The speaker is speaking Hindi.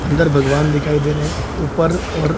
अंदर भगवान दिखाई दे रहे है ऊपर और --